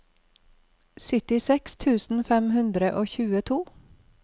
syttiseks tusen fem hundre og tjueto